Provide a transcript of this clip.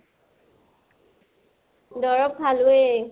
দৰৱ খালোয়ে।